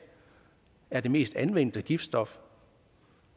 er det mest anvendte giftstof